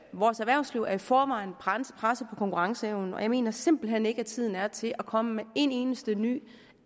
vores erhvervsliv er i forvejen presset på konkurrenceevnen og jeg mener simpelt hen ikke at tiden er til at komme med en eneste ny